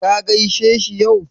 Ka gaishe shi yau?